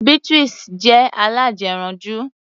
Beatrice jẹ́ alájẹranjú.